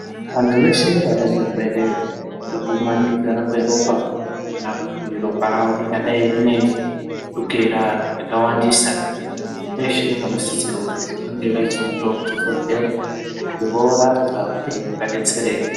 Antu eshe vane zvirwere zvekumanikidzana kweropa kana kuti ropa ravo ringadai rine chukera yakawandisa. Veshe vanosisirwa kuzi vange veizoendawo kuzvibhedhlera veinirapwa uye kuti vadetsereke.